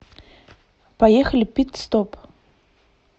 поехали пит стоп